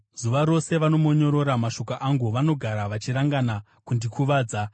Zuva rose vanomonyorora mashoko angu; vanogara vachirangana kundikuvadza.